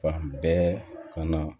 Fan bɛɛ ka na